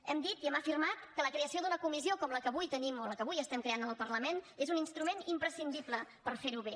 hem dit i hem afirmat que la creació d’una comissió com la que avui tenim la que avui estem creant al parlament és un instrument imprescindible per fer ho bé